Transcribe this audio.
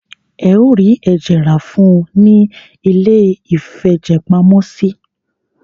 Ẹ o rí ẹ̀jẹ̀ rá fún ùn ní iléìfẹ̀jẹ̀pamọ́sí.